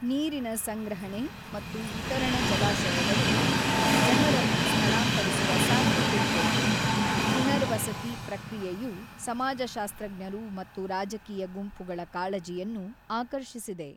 ನೀರಿನ ಸಂಗ್ರಹಣೆ ಮತ್ತು ವಿತರಣ ಜಲಾಶಯಗಳು ಜನರನ್ನು ಸ್ಥಳಾಂತರಿಸುವ ಸಾಧ್ಯತೆಯಿದೆ-ಪುನರ್ವಸತಿ ಪ್ರಕ್ರಿಯೆಯು ಸಮಾಜಶಾಸ್ತ್ರಜ್ಞರು ಮತ್ತು ರಾಜಕೀಯ ಗುಂಪುಗಳ ಕಾಳಜಿಯನ್ನು ಆಕರ್ಷಿಸಿದೆ.